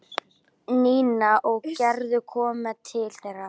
Nína og Gerður komu til þeirra.